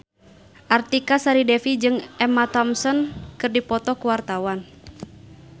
Artika Sari Devi jeung Emma Thompson keur dipoto ku wartawan